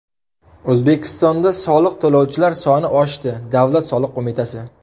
O‘zbekistonda soliq to‘lovchilar soni oshdi Davlat soliq qo‘mitasi.